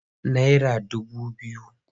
Naira dubu biyu.